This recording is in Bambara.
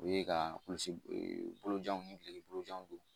U ye ka kulusi ee bolojanw ni gileki bolojanw don.